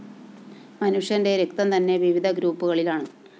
മനുഷ്യന്റെ രക്തംതന്നെ വിവിധ ഗ്രൂപ്പുകളിലാണ്